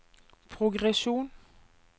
progresjon